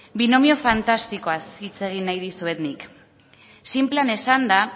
binomio fantastikoaz hitz egin nahi dizuet nik sinplean esanda